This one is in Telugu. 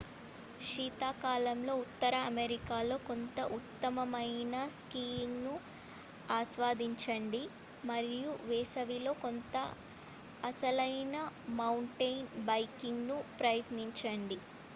శీతాకాలంలో ఉత్తర అమెరికాలో కొంత ఉత్తమమైన స్కీయింగ్ను ఆస్వాదించండి మరియు వేసవిలో కొంత అసలైన మౌంటెయిన్ బైకింగ్ను ప్రయత్నించండి